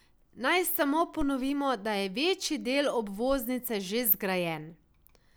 Naj samo ponovimo, da je večji del obvoznice že zgrajen.